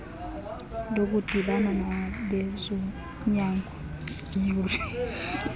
lokudibana nabezonyango iyure